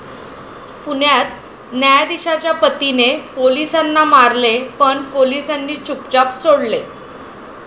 पुण्यात 'न्यायधीशा'च्या पतीने पोलिसाला मारले पण पोलिसांनी चुपचाप सोडले